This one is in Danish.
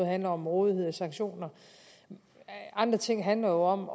handler om rådighed og sanktioner andre ting handler